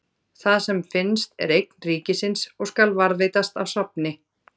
Það sem finnst er eign ríkisins og skal varðveitast á safni.